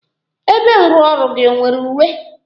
Ebe nrụọrụ gị ọ nwere uwe?